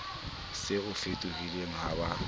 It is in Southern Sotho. se o fetohile ha ba